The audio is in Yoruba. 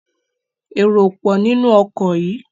èrò o pọ ninu oko yí!